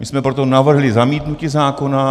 My jsme proto navrhli zamítnutí zákona.